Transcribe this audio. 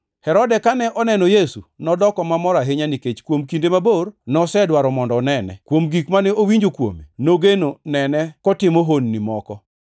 Herode kane oneno Yesu, nodoko mamor ahinya, nikech kuom kinde mabor nosedwaro mondo onene. Kuom gik mane owinjo kuome, nogeno nene kotimo honni moko.